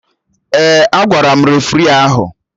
Ee, agwara m refri ahụ